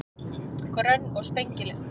Grönn og spengileg.